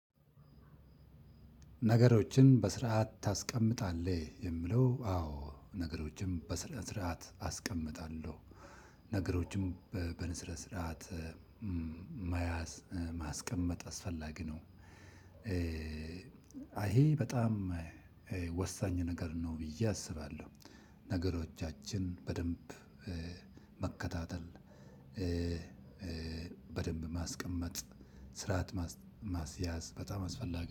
ነገሮችን በስርዓት ታስቀምጣለህ? የሚለው አዎ ነገሮችን በስርዓት አስቀምጣለሁ ነገሮችም በንስረ ስርዓት ማያዝ ማስቀመጥ አስፈላጊ ነው። ይሄ በጣም ወሳኝ ነገር ነው ብዬ አስባለሁ። ነገሮቻችን በደንብ መከታተል በደንብ ማስቀመጥ ስርዓት ማስያዝ በጣም አስፈላጊ